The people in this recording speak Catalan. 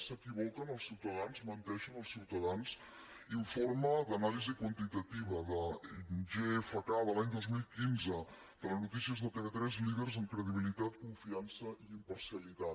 s’equivoquen els ciutadans menteixen els ciutadans informe d’anàlisi quantitativa de gfk de l’any dos mil quinze telenotícies de tv3 líders en credibilitat confiança i imparcialitat